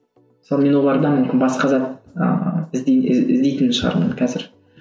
мысалы мен олардан мүмкін басқа зат ыыы іздейтін шығармын қазір